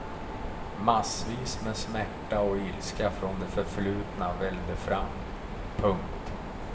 Massvis med smärta och ilska från det förflutna vällde fram. punkt